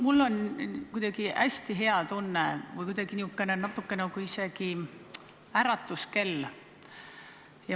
Mul on kuidagi hästi hea tunne, see oleks natuke nagu isegi äratuskell.